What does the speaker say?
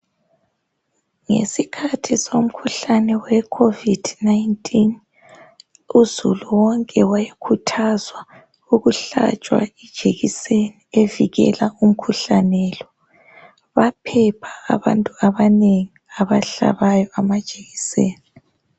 Ngesikhathi somkhuhlane we covid19 uzulu wonke wayekhuthazwa ukuhlahlwa ijekiseni evikela umkhuhlane lo. Baphepha abantu abanengi abahlabayo amajekiseni.